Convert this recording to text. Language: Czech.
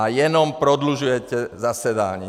A jenom prodlužujete zasedání.